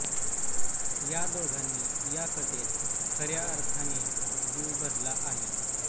या दोघांनी या कथेत खऱ्या अर्थाने जीव भरला आहे